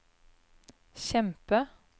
kjempe